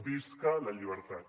visca la llibertat